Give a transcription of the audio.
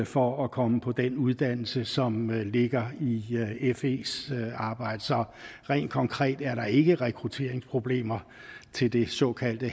for at komme på den uddannelse som ligger i fes arbejde så rent konkret er der ikke rekrutteringsproblemer til det såkaldte